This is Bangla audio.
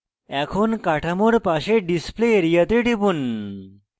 এখন কাঠামোর পাশে display area তে টিপুন